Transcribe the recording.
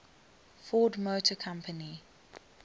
ford motor company